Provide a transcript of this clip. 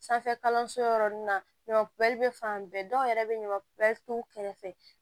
Sanfɛ kalanso yɔrɔ nun na ɲɔ kun bɛ fan bɛɛ dɔw yɛrɛ bɛ ɲaman t'u kɛrɛfɛ